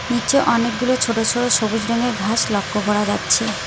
নিচে অনেকগুলো ছোট ছোট সবুজ রঙের ঘাস লক্ষ্য করা যাচ্ছে।